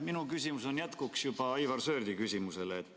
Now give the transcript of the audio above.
Minu küsimus on jätkuks Aivar Sõerdi küsimusele.